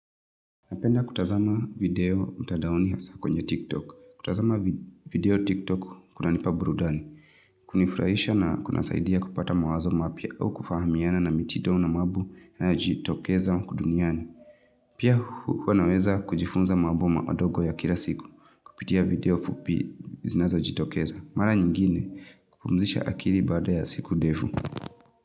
Napenda kutazama video mtadaoni hasa kwenye tiktok. Kutazama video tiktok kuna nipa burudani. Kunifurahisha na kunasaidia kupata mawazo mapia au kufahamiana na mitido na mambo inayojitokeza ukuduniani. Pia huwa naweza kujifunza mambo madogo ya kila siku. Kupitia video fupi zinazo jitokeza. Mara nyingine kupumzisha akiri bada ya siku ndevu.